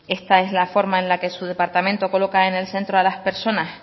esta es la forma en la que su departamento coloca en el centro a las personas